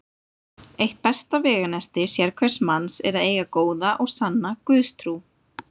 Eitt besta veganesti sérhvers manns er að eiga góða og sanna Guðstrú.